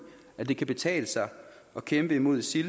at det kan betale sig at kæmpe imod isil